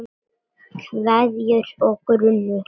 Kveðjur og grunur